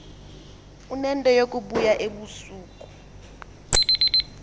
unento yokubuya ngobusuku